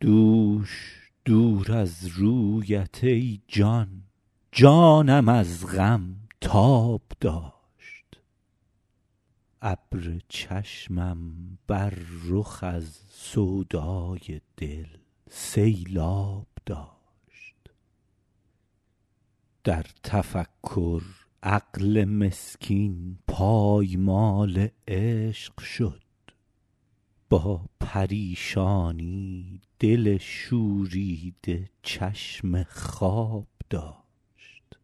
دوش دور از رویت ای جان جانم از غم تاب داشت ابر چشمم بر رخ از سودای دل سیلآب داشت در تفکر عقل مسکین پایمال عشق شد با پریشانی دل شوریده چشم خواب داشت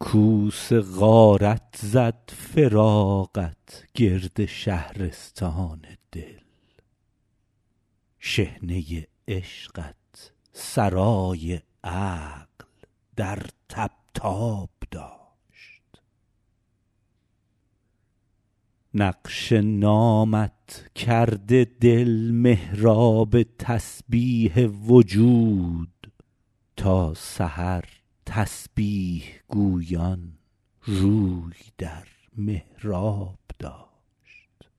کوس غارت زد فراقت گرد شهرستان دل شحنه عشقت سرای عقل در طبطاب داشت نقش نامت کرده دل محراب تسبیح وجود تا سحر تسبیح گویان روی در محراب داشت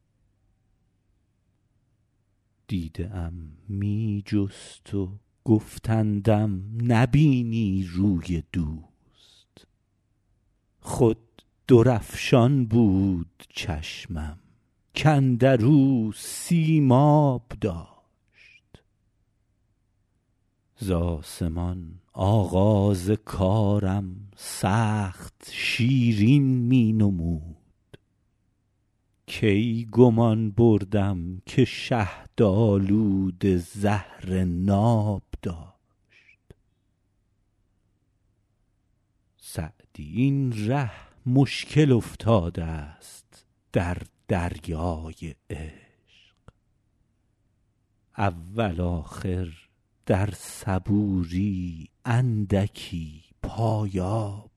دیده ام می جست و گفتندم نبینی روی دوست خود درفشان بود چشمم کاندر او سیماب داشت ز آسمان آغاز کارم سخت شیرین می نمود کی گمان بردم که شهدآلوده زهر ناب داشت سعدی این ره مشکل افتادست در دریای عشق اول آخر در صبوری اندکی پایاب داشت